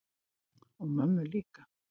Og mömmu líka.